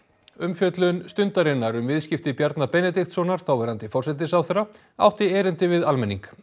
umfjöllun Stundarinnar um viðskipti Bjarna Benediktssonar þáverandi forsætisráðherra átti erindi við almenning